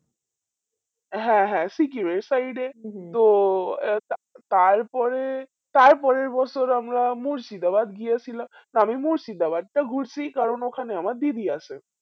হ্যাঁ হ্যাঁ সিকিম এর side এ তো আহ তা তারপরে তারপরের বছর আমরা মুর্শিদাবাদ গিয়েছিলাম আমি মুর্শিদাবাদটা ঘুরছি কারণ ওখানে আমার দিদি আছে